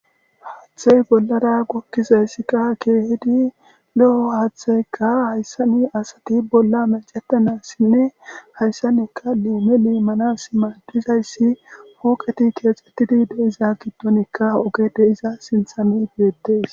Haaththey bollara gokkizayssikka keehidi lo'o haaththeykka hayssani asati bolla macetanassinne hayssanekka leeme leemmana s maadizayssi huoqeti keexxettidi deiza gittonikka oge de iza sinthami beettees.